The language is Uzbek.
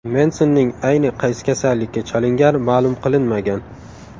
Mensonning ayni qaysi kasallikka chalingani ma’lum qilinmagan.